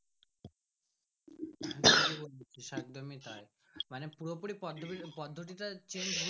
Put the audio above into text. একদমই তাই মানে পুরো পুরি পদ্ধতি পদ্ধতি টাও Change হচ্ছে।